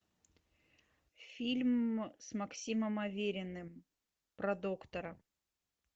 фильм с максимом авериным про доктора